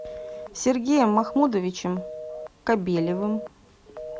сергеем махмудовичем кобелевым